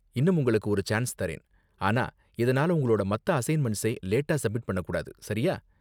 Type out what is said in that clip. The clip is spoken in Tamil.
இன்னும் உங்களுக்கு ஒரு சான்ஸ் தரேன், ஆனா இதனால உங்களோட மத்த அசைன்மெண்ட்ஸை லேட்டா சப்மிட் பண்ண கூடாது, சரியா?